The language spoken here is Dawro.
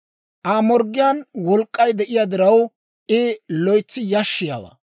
«Aa morggiyaan wolk'k'ay de'iyaa diraw, I loytsi yashshiyaawaa.